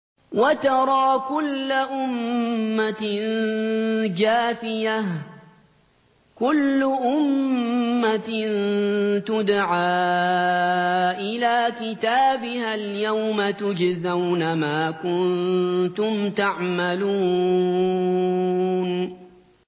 وَتَرَىٰ كُلَّ أُمَّةٍ جَاثِيَةً ۚ كُلُّ أُمَّةٍ تُدْعَىٰ إِلَىٰ كِتَابِهَا الْيَوْمَ تُجْزَوْنَ مَا كُنتُمْ تَعْمَلُونَ